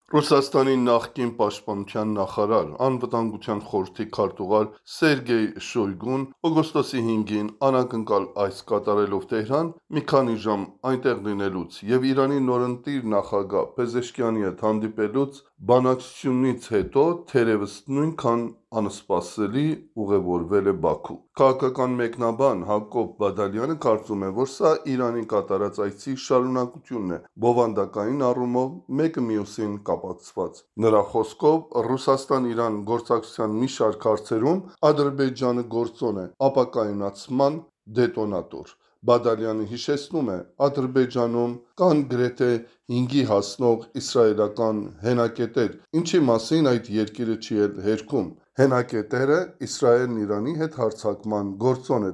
Ռուսաստանի նախկին պաշտպանության նախարար, անվտանգության խորհրդի քարտուղար Սերգեյ Շոյգուն, օգոստոսի 5-ին անակնկալ այց կատարելով Թեհրան, մի քանի ժամ այնտեղ լինելուց եւ Իրանի նորընտիր նախագահ Փեզեշքիանի հետ հանդիպելուց, բանակցությունից հետո, թերեւս, նույնքան անսպասելի ուղեւորվել է Բաքու Քաղաքական մեկնաբան Հակոբ Բադալյանը կարծում է, որ սա Իրան կատարած այցի շարունակությունն է, բովանդակային առումով մեկը մյուսին կապակցված է։ Նրա խոսքով՝ Ռուսաստան–Իրան գործակցության մի շարք հարցերում Ադրբեջանը գործոն է, ապակայունացման դետոնատոր։ Բադալյանը հիշեցնում է՝ Ադրբեջանում կան գրեթե հինգի հասնող իսրայելական հենակետեր, ինչի մասին այդ երկիրը չի էլ հերքում։ Հենակետերը Իսրայելն Իրանի հետ հարձակման գործոն է